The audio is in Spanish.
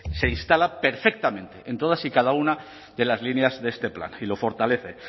se instala perfectamente en todas y cada una de las líneas de este plan y lo fortalece